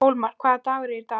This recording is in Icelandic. Hólmar, hvaða dagur er í dag?